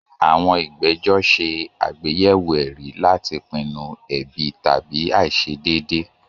Àwọn ìgbẹ́jọ́ ṣe àgbéyẹ̀wò ẹ̀rí láti pinnu ẹ̀bi tàbí àìṣedéédé.